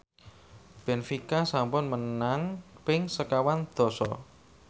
benfica sampun menang ping sekawan dasa